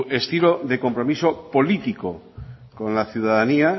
estilo de compromiso político con la ciudadanía